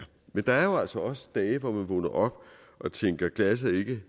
men der er jo altså også dage hvor man vågner op og tænker glasset er ikke